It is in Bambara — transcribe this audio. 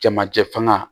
Jamajɛ fanga